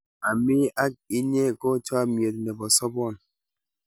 ami ak inye ko chamiet nebo sabon